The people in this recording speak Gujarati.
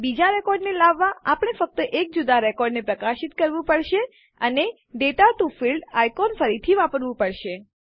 બીજા રેકોર્ડને લાવવાં આપણે ફક્ત એક જુદા રેકોર્ડને પ્રકાશિત કરવું પડશે અને દાતા ટીઓ ફિલ્ડ્સ આઇકોન ફરીથી વાપરવું પડશે